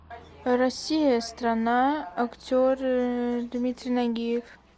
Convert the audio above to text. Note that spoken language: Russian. россия страна актеры дмитрий нагиев